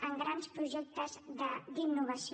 en grans projectes d’innovació